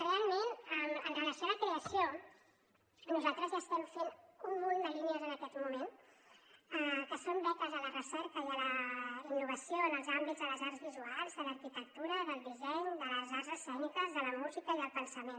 realment amb relació a la creació nosaltres ja estem fent un munt de línies en aquest moment que són beques a la recerca i a la innovació en els àmbits de les arts visuals de l’arquitectura del disseny de les arts escèniques de la música i del pensament